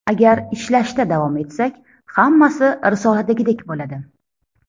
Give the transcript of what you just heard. Agar ishlashda davom etsak, hammasi risoladagidek bo‘ladi.